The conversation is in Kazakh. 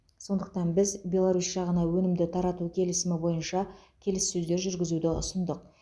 сондықтан біз беларусь жағына өнімді тарату келісімі бойынша келіссөздер жүргізуді ұсындық